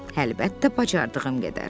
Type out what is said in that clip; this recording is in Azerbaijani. Əlbəttə, bacardığım qədər.